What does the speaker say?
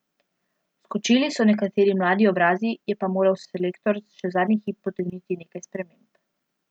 Vskočili so nekateri mladi obrazi, je pa moral selektor še zadnji hip potegniti nekaj sprememb.